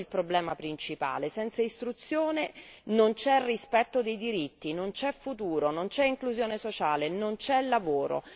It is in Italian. Questo è il problema principale senza istruzione non c'è rispetto dei diritti, non c'è futuro, non c'è inclusione sociale, non c'è lavoro.